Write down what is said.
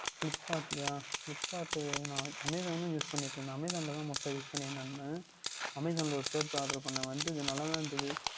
Flipkart லய Flipkart ட்டு நான் Amazon உம் Use பண்ணிட்டு இருந்தான் Amazon ல தான் முதல் Use பண்ணி கொண்டு இருந்தேன் நான் Amazon ல ஓர் Shirt oder பன்னினேன் வந்ததும் நன்றாக தான் இருந்தது